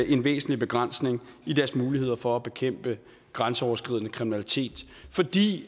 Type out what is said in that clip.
en væsentlig begrænsning af deres muligheder for at bekæmpe grænseoverskridende kriminalitet fordi